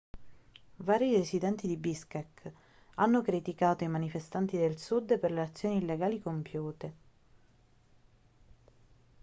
vari residenti di biškek hanno criticato i manifestanti del sud per le azioni illegali compiute